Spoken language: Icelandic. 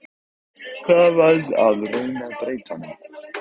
Gaman að reyna að breyta honum.